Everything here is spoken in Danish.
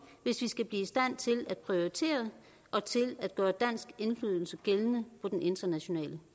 hvis vi skal blive i stand til at prioritere og til at gøre dansk indflydelse gældende på den internationale